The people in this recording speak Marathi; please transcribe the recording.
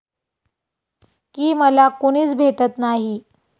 की मला कुणीच भेटत नाही.